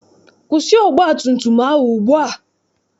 Kwụsị ọgbatumtum ahụ ugbua!